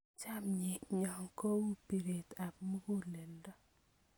Chamyenyo ko u piret ab muguleldo